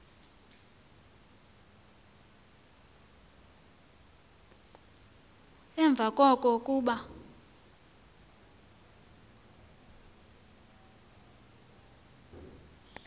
emva koko kuba